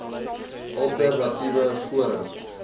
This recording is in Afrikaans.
alter natiewe forum